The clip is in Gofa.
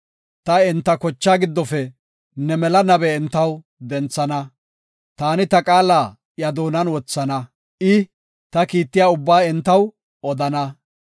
Ta enta kochaa giddofe ne mela nabe entaw denthana; taani ta qaala iya doonan wothana; i, ta kiittiya ubbaa entaw odana.